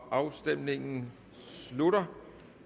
afstemningen slutter